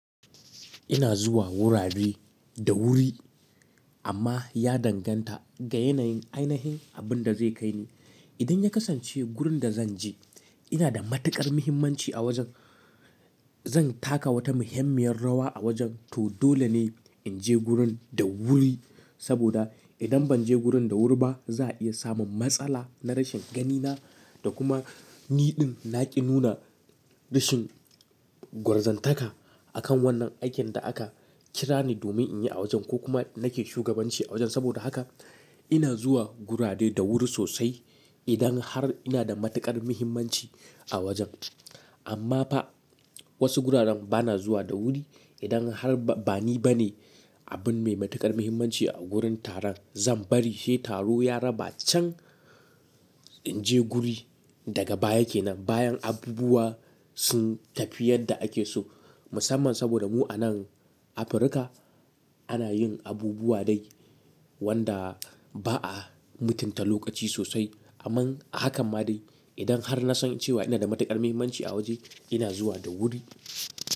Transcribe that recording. Ina zuwa wurare da wuri amma ya danganta ga yanayin ainihin abinda zai kai ni. Idan ya kasance gurin da zan je ina da matuƙar muhimmanci a wajen, zan taka wata muhimmiyar rawa a wajen to dole ne in je gurin da wuri saboda idan ban je gurin da wuri ba za a iya samun matsala na rashin ganina da kuma niɗin na ƙi nuna rashin gwarzantaka akan wannan aikin da aka kira ni domin in yi a wajen ko kuma nake shugabanci a wajen. Saboda haka ina zuwa gurare da wuri sosai idan har ina da matuƙar muhimmanci a wajen. Amma ba wasu guraren ba na zuwa da wuri idan har ba ni bane abin mai matuƙar muhimmanci a gurin taron zan bari sai taro ya raba can in je guri daga baya ke nan bayan abubuwa sun tafi yadda ake so musamman saboda mu a nan Afirka ana yin abubuwa dai wanda ba a mutunta lokaci sosai. Amma haka ma dai idan har na san cewa ina da matuƙar muhimmanci a waje ina zuwa da wuri.